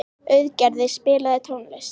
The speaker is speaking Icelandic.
Auðgeir, spilaðu tónlist.